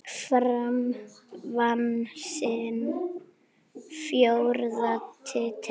Fram vann sinn fjórða titil.